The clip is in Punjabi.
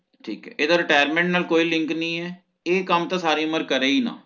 ਠੀਕ ਏ ਏਦਾਂ Retirement ਨਾਲ ਤਾ ਕੋਈ link ਹੀ ਨਹੀਂ ਹੈ ਇਹ ਕੰਮ ਤਾ ਸਾਰੀ ਉਮਰ ਕਰੇ ਹੀ ਨਾ